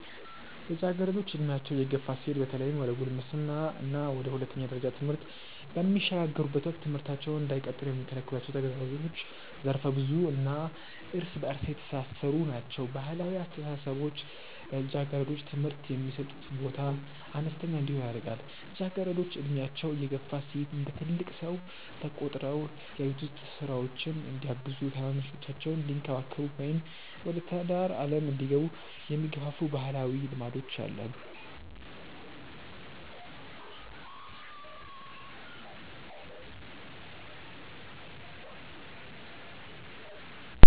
ልጃገረዶች ዕድሜያቸው እየገፋ ሲሄድ በተለይም ወደ ጉልምስና እና ወደ ሁለተኛ ደረጃ ትምህርት በሚሸጋገሩበት ወቅት ትምህርታቸውን እንዳይቀጥሉ የሚከለክሏቸው ተግዳሮቶች ዘርፈ-ብዙ እና እርስ በእርስ የተሳሰሩ ናቸው። ባህላዊ አስተሳሰቦች ለልጃገረዶች ትምህርት የሚሰጡት ቦታ አነስተኛ እንዲሆን ያደርጋሉ። ልጃገረዶች ዕድሜያቸው እየገፋ ሲሄድ እንደ ትልቅ ሰው ተቆጥረው የቤት ውስጥ ሥራዎችን እንዲያግዙ፣ ታናናሾቻቸውን እንዲንከባከቡ ወይም ወደ ትዳር ዓለም እንዲገቡ የሚገፋፉ ባህላዊ ልማዶች አሉ።